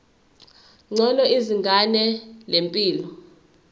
ngcono izinga lempilo